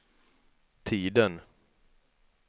tiden